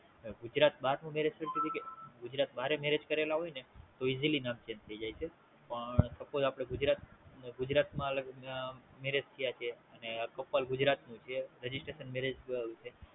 Gujarat bar નું Marriage Certificate. Gujarat bar એ Marriage કરેલા હોય ને તો Easy નામ Change થાય જાય છે.